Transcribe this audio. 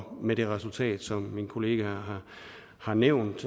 med det resultat som min kollega har nævnt